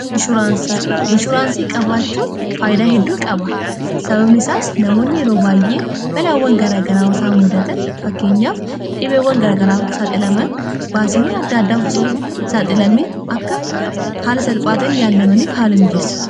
inshuraansii qabaachuun faayidaa hedduu qaba sababni isaas namoonni yeroo baay'ee balaawwan garagaraa isaa muudatan fakkeenyaaf dhibeewwan garagaraa saaxilaman baasiiwwan adda addaa saaxilamaan akka haala salphaatiin yaallamaniif haala miijeessa